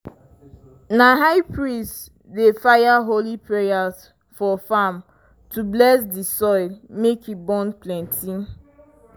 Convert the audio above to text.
na high priest dey fire holy prayers for farm to bless di soil make e born plenty.